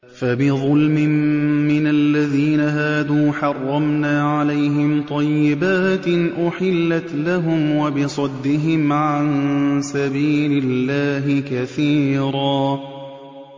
فَبِظُلْمٍ مِّنَ الَّذِينَ هَادُوا حَرَّمْنَا عَلَيْهِمْ طَيِّبَاتٍ أُحِلَّتْ لَهُمْ وَبِصَدِّهِمْ عَن سَبِيلِ اللَّهِ كَثِيرًا